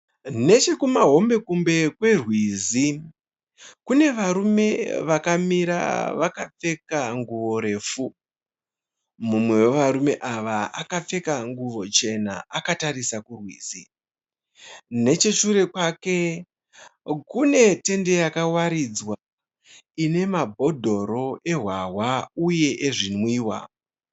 Nechekumahombe kombe kwerwizi kune varume vakamira vakapfeka nguvo refu. Mumwe wevarume ava akapfeka nguvo chena akatarisa kurwizi. Necheshure kwake kune tende yakawaridzwa ine mabhodoro ehwahwa uye ezvinwiwa.